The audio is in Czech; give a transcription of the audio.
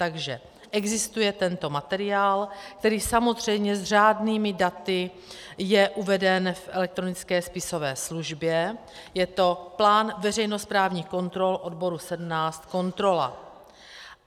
Takže existuje tento materiál, který samozřejmě s řádnými daty je uveden v elektronické spisové službě, je to plán veřejnosprávních kontrol odboru 17, kontrola.